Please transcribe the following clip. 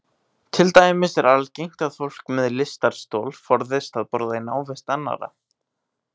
Til dæmis er algengt að fólk með lystarstol forðist að borða í návist annarra.